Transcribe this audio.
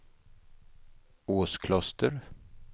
Åskloster